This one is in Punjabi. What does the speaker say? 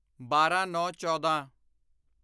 ਬਾਰਾਂਨੌਂਚੌਦਾਂ